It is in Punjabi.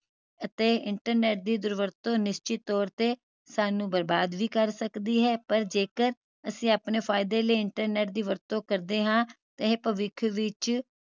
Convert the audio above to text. ਅਤੇ internet ਦੀ ਦੁਰਵਰਤੋਂ ਨਿਸ਼ਚਿਤ ਤੋਰ ਤੇ ਸਾਨੂੰ ਬਰਬਾਦ ਵੀ ਕਰ ਸਕਦੀ ਹੈ ਪਰ ਜੇਕਰ ਅਸੀਂ ਆਪਣੇ ਫਾਈਦੇ ਲਈ internet ਦੀ ਵਰਤੋਂ ਕਰਦੇ ਹਾਂ ਇਹ ਭਵਿੱਖ ਵਿਚ